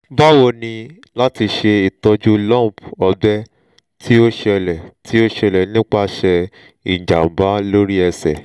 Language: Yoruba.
bawo ni lati ṣe itọju lump ọgbẹ ti o ṣẹlẹ ti o ṣẹlẹ nipasẹ ijamba lori ẹsẹ?